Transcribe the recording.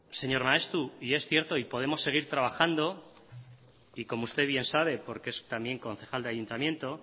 señor maeztu y es cierto y podemos seguir trabajando y como usted bien sabe porque es también concejal de ayuntamiento